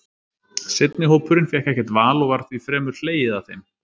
Seinni hópurinn fékk ekkert val, og var því fremur hlegið að þeim.